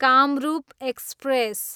Kamrup express